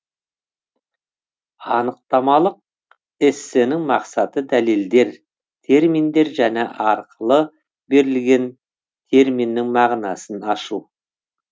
анықтамалық эссенің мақсаты дәлелдер терминдер және арқылы берілген терминнің мағынасын ашу